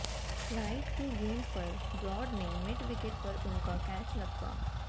right की गेंद पर ब्राड ने मिड विकेट पर उनका कैच लपका